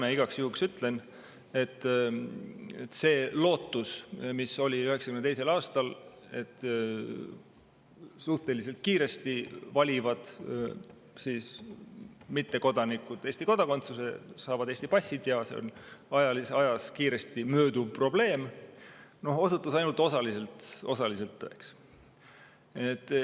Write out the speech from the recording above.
Aga igaks juhuks ütlen, et see lootus, mis oli 1992. aastal, et suhteliselt kiiresti valivad mittekodanikud Eesti kodakondsuse, saavad Eesti passi ja see on ajas kiiresti mööduv probleem, osutus ainult osaliselt tõeks.